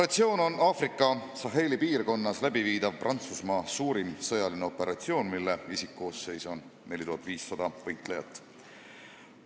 See on Aafrikas Saheli piirkonnas läbiviidav Prantsusmaa suurim sõjaline operatsioon, mille isikkoosseis on 4500 võitlejat.